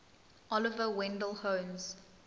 oliver wendell holmes